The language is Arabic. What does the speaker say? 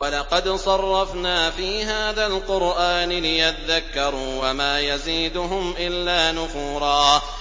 وَلَقَدْ صَرَّفْنَا فِي هَٰذَا الْقُرْآنِ لِيَذَّكَّرُوا وَمَا يَزِيدُهُمْ إِلَّا نُفُورًا